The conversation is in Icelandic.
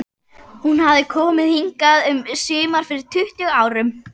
Hún hafði komið hingað um sumar fyrir tuttugu árum.